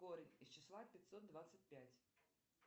корень из числа пятьсот двадцать пять